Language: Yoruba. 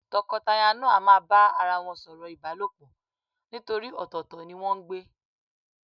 Tọkọtaya náà a máa bá ara wọn sọ̀rọ̀ ìbálòpọ̀ nítorí ọ̀tọ̀ọ̀tọ̀ ni wọ́n ń gbé.